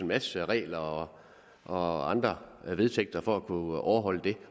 masse regler og og andre vedtægter for at kunne overholde det